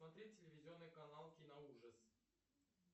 смотреть телевизионный канал киноужас